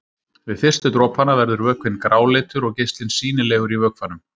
Við fyrstu dropana verður vökvinn gráleitur og geislinn sýnilegur í vökvanum.